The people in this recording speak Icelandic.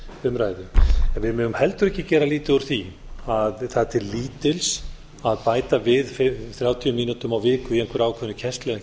umræðu við megum heldur ekki gera lítið úr því að það er til lítils að bæta við þrjátíu mínútum á viku í einhverri ákveðinni kennslu ef